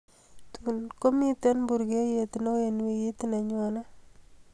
tun komiten burgeyet neo en wigit nenyone